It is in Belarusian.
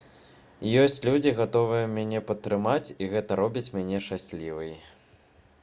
ёсць людзі гатовыя мяне падтрымаць і гэта робіць мяне шчаслівай